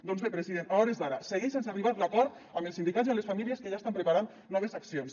doncs bé president a hores d’ara segueix sense arribar l’acord amb els sindicats i amb les famílies que ja estan preparant noves accions